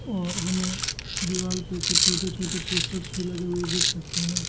और हमें दीवाल पे कुछ छोटे छोटे पोस्टर्स भी लगे हुए देख सकते हैं।